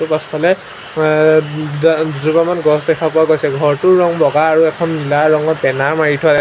পাছফালে এ দু দা দুজোপামান গছ দেখা পোৱা গৈছে ঘৰটোৰ ৰং বগা আৰু এখন নীলা ৰঙৰ বেনাৰ মাৰি থোৱা--